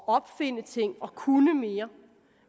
opfinde ting og kunne mere